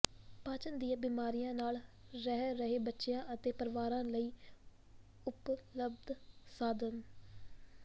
ਪਾਚਨ ਦੀਆਂ ਬਿਮਾਰੀਆਂ ਨਾਲ ਰਹਿ ਰਹੇ ਬੱਚਿਆਂ ਅਤੇ ਪਰਿਵਾਰਾਂ ਲਈ ਉਪਲਬਧ ਸਾਧਨ